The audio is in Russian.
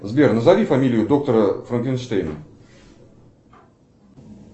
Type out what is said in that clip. сбер назови фамилию доктора франкенштейна